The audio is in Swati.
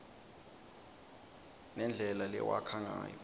nendlela lewakha ngayo